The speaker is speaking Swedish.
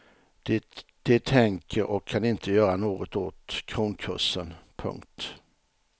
De tänker och kan inte göra något åt kronkursen. punkt